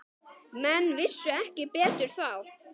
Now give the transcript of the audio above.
Menn vissu ekki betur þá.